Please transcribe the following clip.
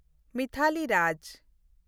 ᱢᱤᱛᱟᱞᱤ ᱨᱟᱡᱽ